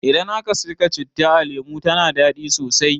Idan aka saka citta a lemu tana dadi sosai